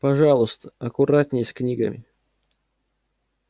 пожалуйста аккуратней с книгами